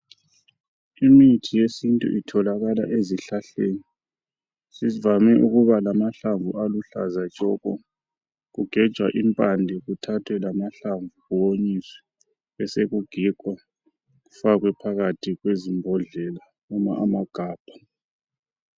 Imithi yesintu itholakala ezihlahleni ezivame ukubalama hlamvu aluhlaza tshoko kugejwa impande kuthathwe lamahlamvu kuhlaniswe besegigwa kufakwe phakathi kwezimbodlela noma amagabha